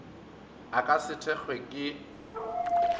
a ka se thekgwe ke